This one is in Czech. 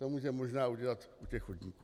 To může možná udělat u těch chodníků.